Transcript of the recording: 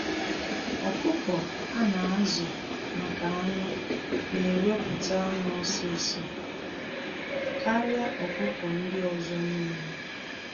Ọkụkọ a na-azu maka anụ na eweputa anụ ọsịsọ karịa ọkụkọ ndị ọzọ n'ile.